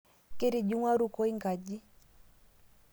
Ketijingwa rukoi nkaji